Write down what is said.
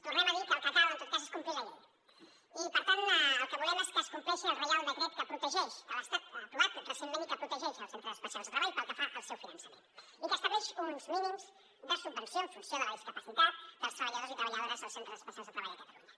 tornem a dir que el que cal en tot cas és complir la llei i per tant el que volem és que es compleixi el reial decret que l’estat ha aprovat recentment i que protegeix els centres especials de treball pel que fa al seu finançament i que estableix uns mínims de subvenció en funció de la discapacitat dels treballadors i treballadores dels centres especials de treball a catalunya